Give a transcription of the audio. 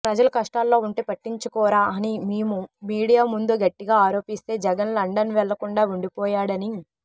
ప్రజలు కష్టాల్లో ఉంటె పట్టించుకోరా అని మీము మీడియా ముందు గట్టిగా ఆరోపిస్తే జగన్ లండన్ వెళ్లకుండా ఉండిపోయాడని